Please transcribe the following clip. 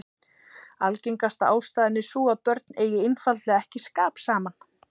Algengasta ástæðan er sú að börnin eigi einfaldlega ekki skap saman.